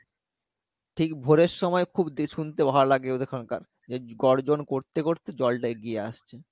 ঠিক ভোরের সময় খুব শুনতে ভালো লাগে ওদের ওখানকার যে গর্জন করতে করতে জলটা এগিয়ে আসছে